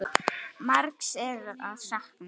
Margs er að sakna.